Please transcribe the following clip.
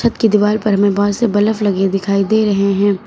छत की दीवार पर हमे बहोत से बलफ लगे दिखाई दे रहे है।